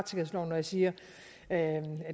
når jeg siger at